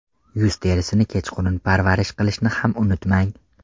Yuz terisini kechqurun parvarish qilishni ham unutmang.